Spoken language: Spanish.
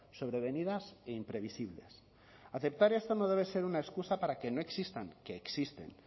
sobrevenidas e imprevisibles aceptar esto no debe ser una excusa para que no existan que existen